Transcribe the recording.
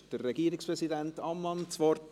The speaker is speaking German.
Wünscht Regierungspräsident Ammann das Wort?